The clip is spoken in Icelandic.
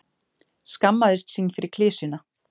skammaðist sín fyrir klisjuna.